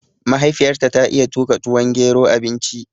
Mahaifiyar ta ta iya tuƙa tuwon gero, abinci